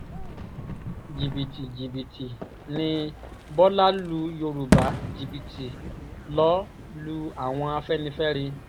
jìbìtì jìbìtì ni bọ́lá lu yorùbá jìbìtì lọ lu àwọn afẹ́nifẹ́re